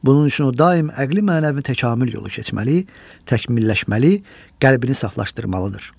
Bunun üçün o daim əqli-mənəvi təkamil yolu keçməli, təkmilləşməli, qəlbini saflaşdırmalıdır.